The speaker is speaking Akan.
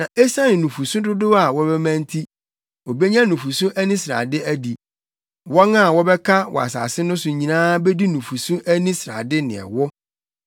Na esiane nufusu dodow a wɔbɛma nti, obenya nufusu ani srade adi. Wɔn a wɔbɛka wɔ asase no so nyinaa bedi nufusu ani srade ne ɛwo.